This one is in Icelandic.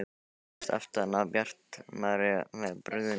Hann læddist aftan að Bjartmari með brugðnu sverði.